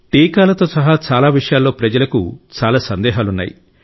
టీకాలతో సహా చాలా విషయాల్లో ప్రజలకు చాలా సందేహాలున్నాయి